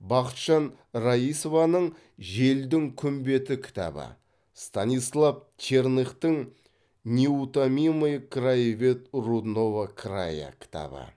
бақытжан раисованың желдің күн беті кітабы станислав черныхтың неутомимый краевед рудного края кітабы